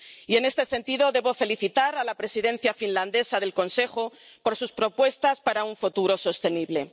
Y en este sentido debo felicitar a la Presidencia finlandesa del Consejo por sus propuestas para un futuro sostenible.